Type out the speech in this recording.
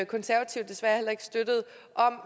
konservative desværre heller ikke støttede